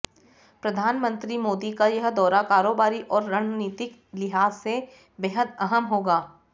प्रधानमंत्री मोदी का यह दौरा कारोबारी और रणनीतिक लिहाज से बेहद अहम होगा